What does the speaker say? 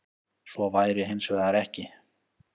Svo væri hins vegar ekki